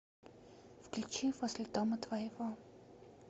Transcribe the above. включи возле дома твоего